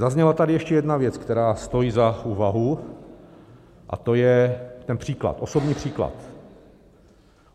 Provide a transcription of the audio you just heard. Zazněla tady ještě jedna věc, která stojí za úvahu, a to je ten příklad, osobní příklad.